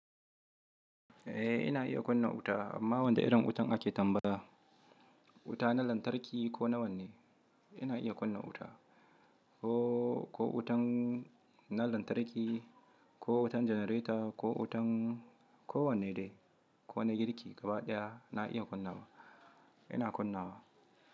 Eh ina iya kunna wuta amma wanda irin wutan ake tambaya, wuta na lantarki ko nawanne? Ina iya kunna wuta ko, ko wutan na lantarki, ko wutan janareta ko wutan ko wanne dai, ko na girki gaba ɗaya na iya kunna, ina kunna wa.